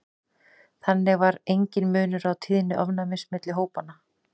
þannig var enginn munur á tíðni ofnæmis milli hópanna